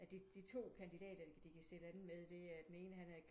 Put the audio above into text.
At de de to kandidater de kan sætte an med det er den ene han er